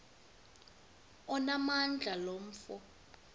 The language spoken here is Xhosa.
onamandla lo mfo